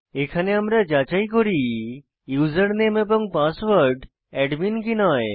এখানে আমরা যাচাই করি ইউসারনেম এবং পাসওয়ার্ড অ্যাডমিন কি নয়